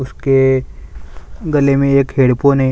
इसके गले में एक हैडफ़ोन हैं।